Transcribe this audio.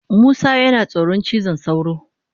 Musa yana tsoron cizon sauro.